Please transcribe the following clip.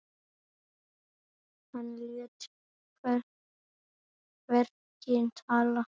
Hann lét verkin tala.